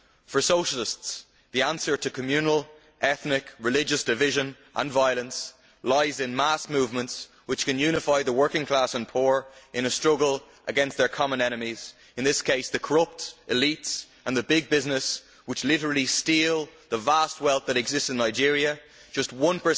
For Socialists, the answer to communal, ethnic, religious division and violence lies in mass movements which can unify the working class and poor in a struggle against their common enemies, in this case the corrupt elite and the big business which literally steal the vast wealth that exists in Nigeria just 1